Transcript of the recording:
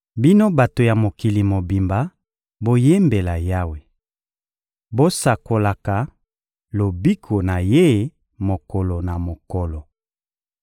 Bino bato ya mokili mobimba, boyembela Yawe! Bosakolaka lobiko na Ye mokolo na mokolo!